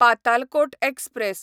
Patalkot express